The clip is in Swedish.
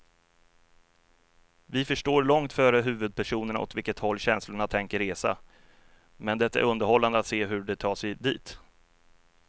Vi förstår långt före huvudpersonerna åt vilket håll känslorna tänker resa, men det är underhållande att se hur de tar sig dit.